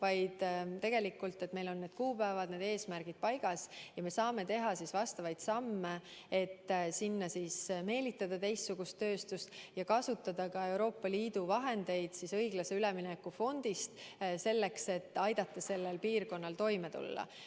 Aga meil on tähtajad, need eesmärgid paigas ja me saame teha samme, et sinna meelitada teistsugust tööstust ja kasutada ka Euroopa Liidu vahendeid õiglase ülemineku fondist, et aidata sellel piirkonnal toime tulla.